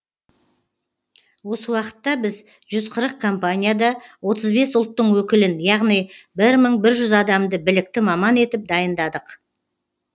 осы уақытта біз жүз қырық компанияда отыз бес ұлттың өкілін яғни бір мың жүз адамды білікті маман етіп дайындадық